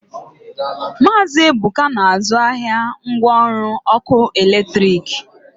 Maazi Ebuka na-azụ ahịa ngwa ọrụ ọkụ eletrik.